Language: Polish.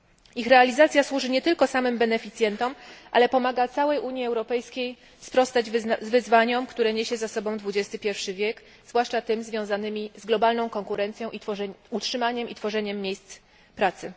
Ich realizacja służy nie tylko samym beneficjentom, ale pomaga całej Unii Europejskiej sprostać wyzwaniom, które niesie ze sobą XXI wiek, zwłaszcza tym związanym z globalną konkurencją oraz utrzymaniem i tworzeniem miejsc pracy.